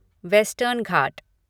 western Ghat